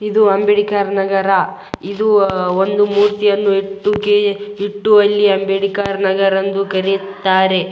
ಇದು ಅಂಬೇಡ್ಕರ್ ನಗರ ಇದು ಒಂದು ಮೂರ್ತಿಯನ್ನು ಇಟ್ಟುಕೆ ಇಟ್ಟು ಅಲ್ಲಿ ಅಂಬೇಡ್ಕರ್ ನಗರ ಎಂದು ಕರೆಯುತ್ತಾರೆ .